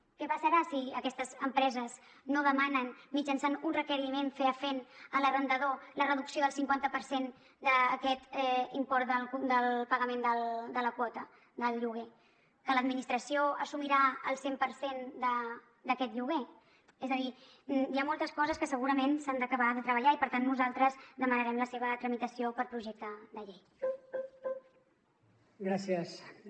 què passarà si aquestes empreses no demanen mitjançant un requeriment fefaent a l’arrendador la reducció del cinquanta per cent d’aquest import del pagament de la quota del lloguer que l’administració assumirà el cent per cent d’aquest lloguer és a dir hi ha moltes coses que segurament s’han d’acabar de treballar i per tant nosaltres demanarem la seva tramitació per projecte de llei